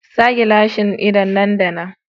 Sa gilashin ido nan da nan.